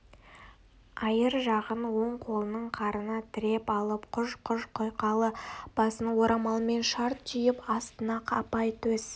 айыр жағын оң қолының қарына тіреп алып құж-құж құйқалы басын орамалмен шарт түйіп астына апай төс